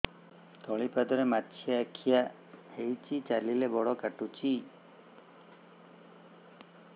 ତଳିପାଦରେ ମାଛିଆ ଖିଆ ହେଇଚି ଚାଲିଲେ ବଡ଼ କାଟୁଚି